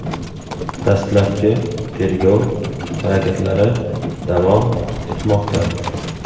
Dastlabki tergov harakatlari davom etmoqda.